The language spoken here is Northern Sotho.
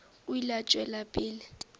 o ile a tšwela pele